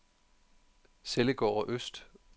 Sellegårde Øst